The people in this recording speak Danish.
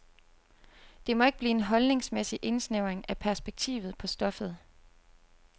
Det må ikke blive en holdningsmæssig indsnævring af perspektivet på stoffet.